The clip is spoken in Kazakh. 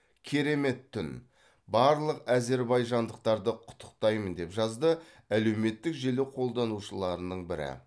керемет түн барлық әзербайжандықтарды құттықтаймын деп жазды әлеуметтік желі қолданушыларының бірі